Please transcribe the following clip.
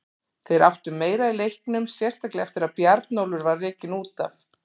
Þeir áttu meira í leiknum, sérstaklega eftir að Bjarnólfur var rekinn út af.